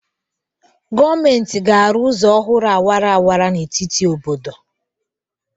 Gọọmenti ga-arụ ụzọ ọhụrụ awara awara n'etiti obodo